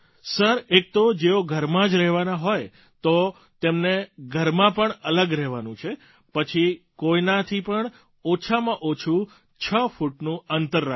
એક તો જો ઘરમાં જ રહેવાના હોય તો તેમને ઘરમાં પણ અલગ રહેવાનું છે પછી કોઇનાય થી પણ ઓછામાં ઓછું છ ફૂટનું અંતર રાખવાનું છે